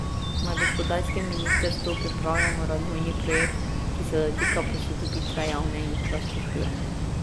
Na gospodarskem ministrstvu pripravljamo razvojni projekt, ki se dotika posodobitve javne infrastrukture.